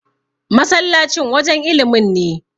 masallacin wajen ilimin ne